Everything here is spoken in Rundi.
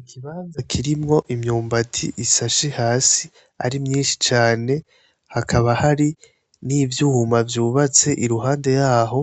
Ikibanza kirimwo imyumba isashe hasi ari myinshi cane, hakaba hari n'ivyuma vyubatse iruhande yaho,